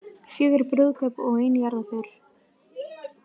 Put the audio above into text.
Fjögur brúðkaup og ein jarðarför